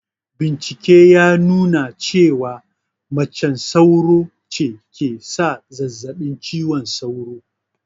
Bincike ya nuna cewa macen sauro ce ke sa zazzaɓin cizon sauro